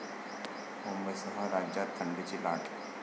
मुंबईसह राज्यात थंडीची लाट!